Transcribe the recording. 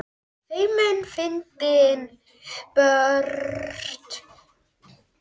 Feimin, fyndin, björt og blíð.